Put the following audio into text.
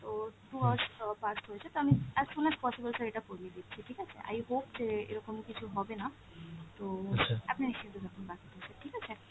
তো two hours past হয়েছে তো আমি as soon as possible sir এটা করিয়ে দিচ্ছি ঠিক আছে। i hope যে এরকম কিছু হবেনা, তো আপনি নিশ্চিন্তে থাকুন ঠিক আছে।